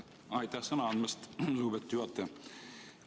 Aitäh sõna andmast, lugupeetud juhataja!